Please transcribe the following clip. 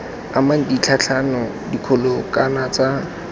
amang ditlhatlhamano dikgolo kana tsa